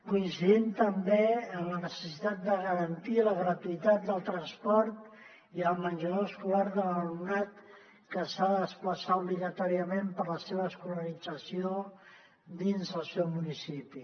coincidim també amb la necessitat de garantir la gratuïtat del transport i el menjador escolar de l’alumnat que s’ha de desplaçar obligatòriament per a la seva escolarització dins del seu municipi